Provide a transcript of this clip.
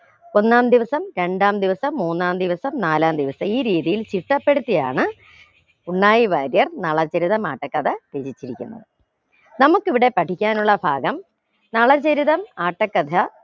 ഒന്നാം ദിവസം രണ്ടാം ദിവസം മൂന്നാം ദിവസം നാലാം ദിവസം ഈ രീതിയിൽ ചിട്ടപ്പെടുത്തിയാണ് ഉണ്ണായി വാര്യർ നളചരിതം ആട്ടക്കഥ രചിച്ചിരിക്കുന്നത് നമുക്ക് ഇവിടെ പഠിക്കാനുള്ള ഭാഗം നളചരിതം ആട്ടക്കഥ